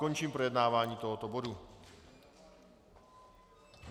Končím projednávání tohoto bodu.